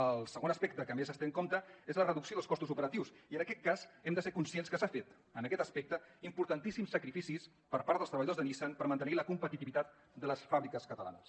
el segon aspecte que més es té en compte és la reducció dels costos operatius i en aquest cas hem de ser conscients que s’han fet en aquest aspecte importantíssims sacrificis per part dels treballadors de nissan per mantenir la competitivitat de les fàbriques catalanes